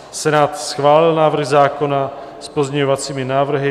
Senát schválil návrh zákona s pozměňovacími návrhy.